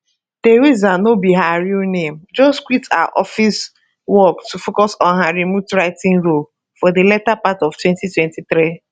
theresa no be her real name just quit her office work to focus on her remote writing role for di later part of 2023